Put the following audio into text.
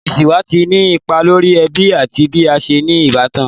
Iṣiwa ti ni ipa lori ẹbi ati bi a ṣe ni ibatan